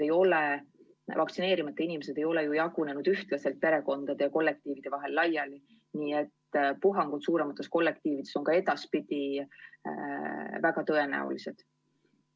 Vaktsineerimata inimesed ei ole ju jagunenud ühtlaselt perekondade ja kollektiivide vahel laiali, nii et puhangud suuremates kollektiivides on ka edaspidi väga tõenäolised.